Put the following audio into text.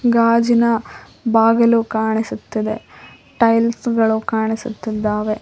ಗಾಜಿನ ಬಾಗಿಲು ಕಾಣಿಸುತ್ತದೆ ಟೈಲ್ಸ್ ಗಳು ಕಾಣಿಸುತ್ತಿದ್ದಾವೆ.